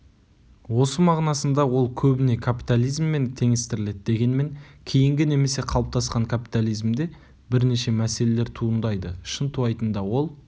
осы мағынасында ол көбіне каптализммен теңестіріледі дегенмен кейінгі немесе қалыптасқан капитализмде бірнеше мәселелер туындайды шынтуайтында ол